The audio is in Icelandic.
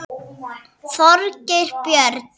Þorgeir Björn.